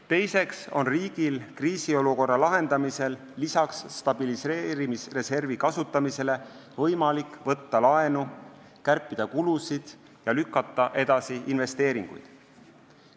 Teiseks on riigil kriisiolukorra lahendamisel lisaks stabiliseerimisreservi kasutamisele võimalik võtta laenu, kärpida kulusid ja lükata edasi investeeringuid.